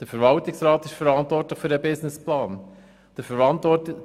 Der Verwaltungsrat ist verantwortlich für den Businessplan.